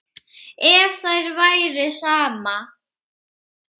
Ef þér væri sama.